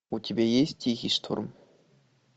у тебя есть тихий шторм